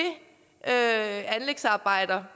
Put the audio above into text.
anlægsarbejder